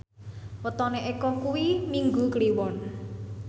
wetone Eko kuwi Minggu Kliwon